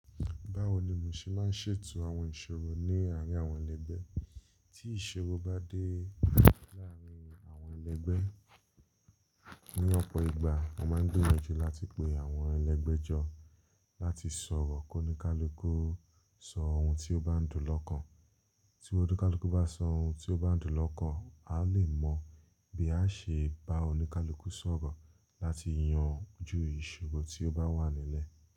Báwo ni mu ṣe máa ń ṣètò àwọn ìṣòro ní àárín àwọn ẹlẹgbẹ́? Tí ìṣòro bá dé láàárín àwọn ẹlẹgbẹ́, ní ọ̀pọ̀ ìgbà, mo máa ń gbìyànjú láti pe àwọn ẹlẹgbẹ́ jọ láti sọ̀rọ̀ kí oníkálukú sọ ohun tí ó bá ń dùn lọ́kàn. Tí oníkálukú bá sọ ohun tí ó bá ń dùn lọ́kàn, a lè mọ bí a ṣe bá oníkálukú sọ̀rọ̀ láti yanju ìṣòro tí ó bá wà nílẹ̀.